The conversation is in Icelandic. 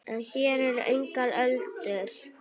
En hér eru engar öldur.